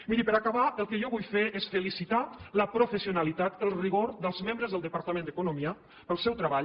miri per acabar el que jo vull fer és felicitar la professionalitat el rigor dels membres del departament d’economia pel seu treball